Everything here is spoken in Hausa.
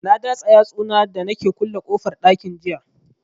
Na datsa yatsu na da nake kulle kofar ɗakin jiya